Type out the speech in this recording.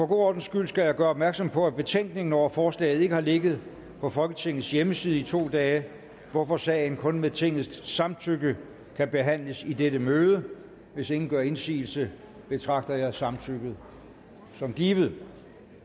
ordens skyld skal jeg gøre opmærksom på at betænkningen over forslaget ikke har ligget på folketingets hjemmeside i to dage hvorfor sagen kun med tingets samtykke kan behandles i dette møde hvis ingen gør indsigelse betragter jeg samtykket som givet